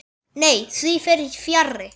Nei, því fer fjarri.